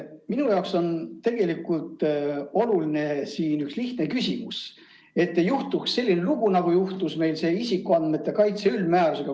Minu jaoks on tegelikult oluline siin üks lihtne küsimus, et ei juhtuks selline lugu, nagu juhtus meil isikuandmete kaitse üldmäärusega.